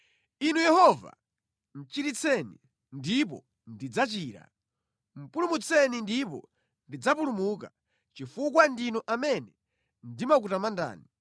Inu Yehova, chiritseni, ndipo ndidzachira; pulumutseni ndipo ndidzapulumuka, chifukwa ndinu amene ndimakutamandani.